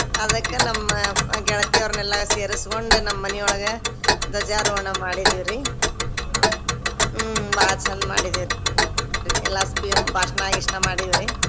ಅದಕ್ಕ ನಮ್ಮ ಗೆಳತಿಯರ್ನೆಲ್ಲ ಸೇರಿಸಿಕೊಂಡ್ ನಮ್ಮ್ ಮನಿಯೊಳಗ ಧ್ವಜಾರೋಹಣ ಮಾಡೀವ್ರಿ ಹ್ಮ್ ಬಾಳ ಚಂದ್ ಮಾಡಿದಿವ್ರಿ ಎಲ್ಲಾ ಭಾಷ್ಣ ಗೀಷ್ಣ ಮಾಡಿವ್ರಿ.